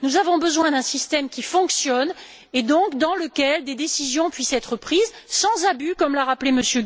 Nous avons besoin d'un système qui fonctionne et dans lequel des décisions puissent être prises, sans abus, comme l'a rappelé M.